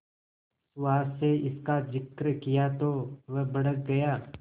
सुहास से इसका जिक्र किया तो वह भड़क गया